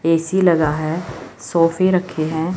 AC लगा है सोफे रखे है।